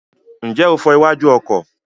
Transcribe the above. Ǹjẹ́ o fọ iwájú ọkọ̀?